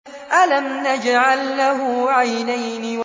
أَلَمْ نَجْعَل لَّهُ عَيْنَيْنِ